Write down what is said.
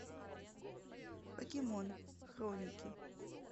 покемон хроники